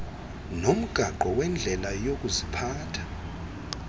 nomgaqo wendlela yokuziphatha